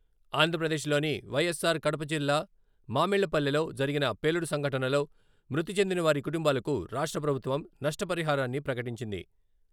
ఆంధ్రప్రదేశ్ లోని వైఎస్సార్ కడప జిల్లా మామిళ్లపల్లెలో జరిగిన పేలుడు సంఘటనలో మృతి చెందిన వారి కుటుంబాలకు రాష్ట్ర ప్రభుత్వం నష్టపరిహారాన్ని ప్రకటించింది.